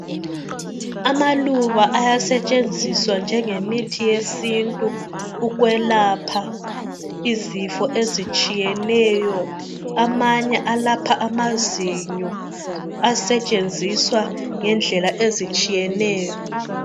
Amaluba ayasetshenziswa njengemithi yesintu ukwelapha izifo ezitshiyeneyo. Amanye alapha amazinyo asetshenziswa ngendlela ezitshiyeneyo.